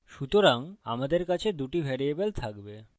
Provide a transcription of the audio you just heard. সুতরাং আমাদের কাছে দুটি ভ্যারিয়েবল থাকবে